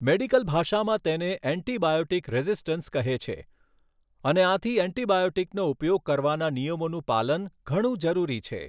Medical ભાષામાં તેને antibiotic resistance કહે છે અને આથી એન્ટિબાયોટિકનો ઉપયોગ કરવાના નિયમોનું પાલન ઘણું જરૂરી છે.